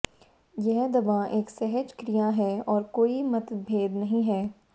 यह दवा एक सहज क्रिया है और कोई मतभेद नहीं है